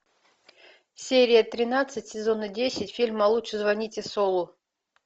серия тринадцать сезона десять фильма лучше звоните солу